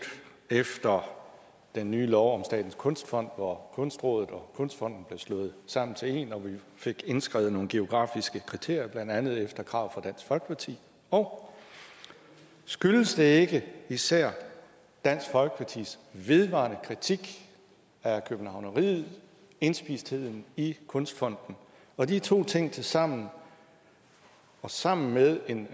efter den nye lov om statens kunstfond hvor kunstrådet og kunstfonden blev slået sammen til en og vi fik indskrevet nogle geografiske kriterier blandt andet efter krav fra dansk folkeparti og skyldes det ikke især dansk folkepartis vedvarende kritik af københavneriet og indspistheden i kunstfonden og at de to ting tilsammen og sammen med en